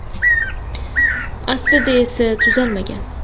Aslida esa, tuzalmagan.